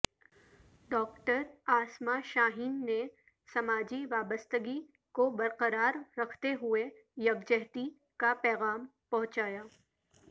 doctor Asma Shaheen نے سماجی وابستگی کو برقرار رکھتے ہوئے یکجہتی کا پیغام پہنچایا